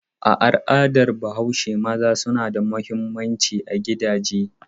A al'adar Bahaushe maza suna da mahimmanci a gidaje.